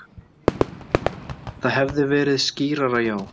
Það hefði verið skýrara, já.